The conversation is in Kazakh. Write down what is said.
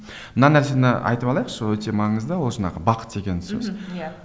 мына нәрсені айтып алайықшы өте маңызды ол жаңағы бақ деген сөз мхм иә